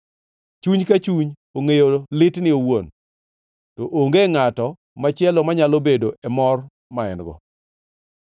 Chuny ka chuny ongʼeyo litne owuon, to onge ngʼato machielo manyalo bedo e mor ma en-go.